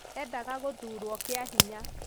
endaga guthurwo kĩa hinya